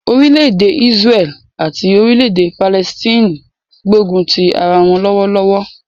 Orílẹ̀-èdè Ísráẹ́lì àti Orílẹ̀-èdè Palẹstine ń gbógun ti ara wọ́n lọ́wọ́lọ́wọ́.